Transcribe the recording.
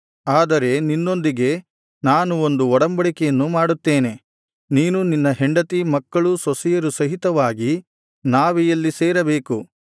ಆದರೆ ನಿನ್ನೊಂದಿಗೆ ನಾನು ಒಂದು ಒಡಂಬಡಿಕೆಯನ್ನು ಮಾಡುತ್ತೇನೆ ನೀನೂ ನಿನ್ನ ಹೆಂಡತಿ ಮಕ್ಕಳು ಸೊಸೆಯರು ಸಹಿತವಾಗಿ ನಾವೆಯಲ್ಲಿ ಸೇರಬೇಕು